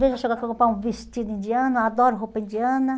Vejo eu chegar com um vestido indiano, adoro roupa indiana.